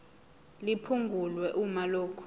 liphungulwe uma lokhu